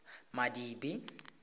madibe